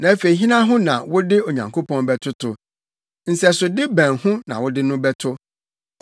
Afei hena ho na wode Onyankopɔn bɛtoto? Nsɛsode bɛn ho na wode no bɛto?